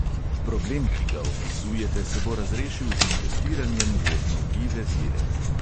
Problem, ki ga opisujete, se bo razrešil z investiranjem v obnovljive vire.